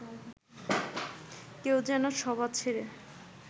কেউ যেন সভা ছেড়ে